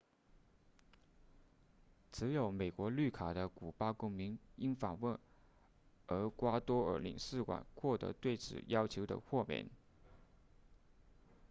持有美国绿卡的古巴公民应访问厄瓜多尔领事馆获得对此要求的豁免